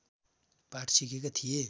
पाठ सिकेका थिए